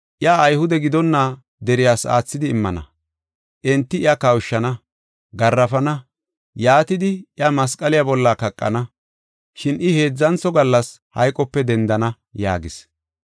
Iya Ayhude gidonna deriyas aathidi immana. Enti iya kawushana, garaafana, yaatidi iya masqaliya bolla kaqana. Shin I heedzantho gallas hayqope dendana” yaagis.